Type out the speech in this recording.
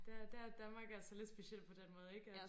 Der der er Danmark altså lidt speciel på den måde ikke at